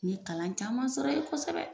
U ye kalan caman sɔrɔ yen kosɛbɛ.